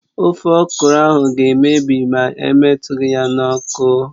Ofe okro ahụ ga-emebi mà emetughi ya n'ọkụ